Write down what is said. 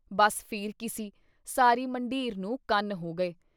ਬੱਸ ਫੇਰ ਕੀ ਸੀ ? ਸਾਰੀ ਮੰਢੀਰ ਨੂੰ ਕੰਨ ਹੋ ਗਏ।